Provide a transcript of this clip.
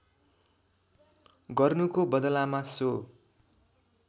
गर्नुको बदलामा सो